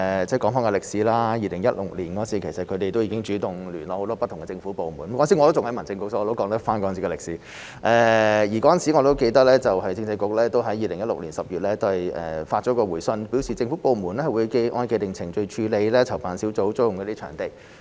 說回歷史 ，2016 年他們已經主動聯絡很多不同的政府部門——當時我仍然任職民政事務局，所以我可以說出當時的歷史——而我記得當時政制及內地事務局在2016年10月發出回信，表示政府部門會按照既定程序處理籌辦小組租用場地。